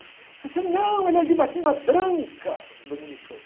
Ele falou assim, não, ele é de batina branca, dominicano.